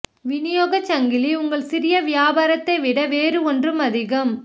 விநியோகச் சங்கிலி உங்கள் சிறிய வியாபாரத்தை விட வேறு ஒன்றும் அதிகம்